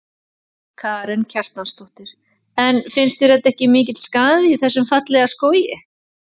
Karen Kjartansdóttir: En finnst þér þetta ekki mikill skaði í þessum fallega skógi?